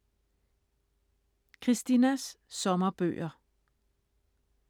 Christinas sommerbøger: